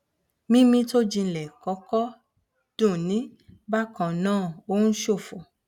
mímí tó jinlẹ kọkọ dunni bákan náà ó ń ṣọfọ